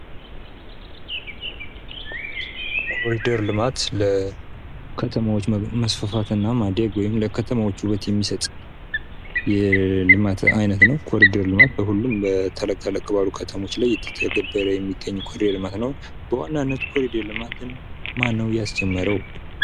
ኮሪደር ልማት ለከተሞች መስፋፋት ወይም ደግሞ ለከተሞች ውበት የሚሰጥ የልማት አይነት ነው ኮሪደር ልማት በሁሉም ተለቅተለቅ ባሉ ከተሞች ላይ እየተገበረ የሚገኝ የኮሪደር ልማት ነው። የኮንደር ልማትን ማን ነው ያስጀመረው